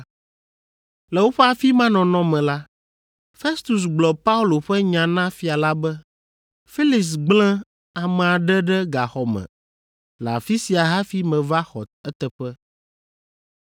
Le woƒe afi ma nɔnɔ me la, Festus gblɔ Paulo ƒe nya na fia la be, “Felix gblẽ ame aɖe ɖe gaxɔ me le afi sia hafi meva xɔ eteƒe.